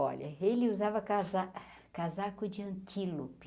Olha, ele usava casa casaco de antilope.